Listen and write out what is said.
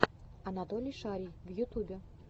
анатолий шарий в ютюбе